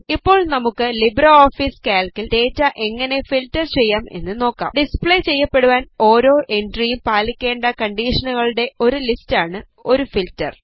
ഇപ്പോൾ നമുക്ക് ലിബ്രെഓഫീസ് കാൽക്കിൽ ഡേറ്റ എങ്ങനെ ഫീൽറ്റർ ചെയ്യാം എന്ന് നോക്കാം ഡിസ്പ്ലേ ചെയ്യപ്പെടുവാൻ ഓരോ എൻട്രിയും പാലിക്കേണ്ട കണ്ടീഷനുകളുടെ ഒരു ലിസ്റ്റാണ് ഒരു ഫീൽറ്റർ